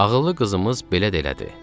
Ağıllı qızımız belə də elədi.